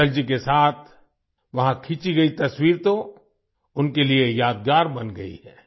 अटल जी के साथ वहाँ खिंची गई तस्वीर तो उनके लिए यादगार बन गई है